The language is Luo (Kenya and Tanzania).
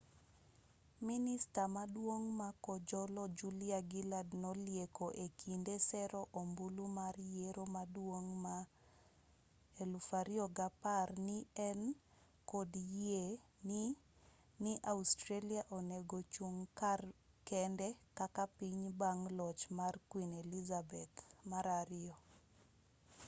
minista maduong' ma kojolo julia gillard nolieko e kinde sero ombulu mar yiero maduong' ma 2010 ni ne en kod yie ni ni australia onego chung kar kende kaka piny bang' loch mar queen elizabeth ii